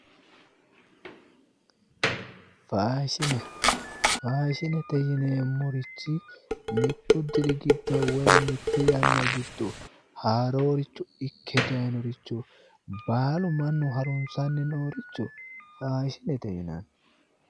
Faashine faashinete yineemorichi mitu diri gido woy mite Yana gido haaroricho Ike dayiinoricho baalu mannu harunsani noricho faashinete yinani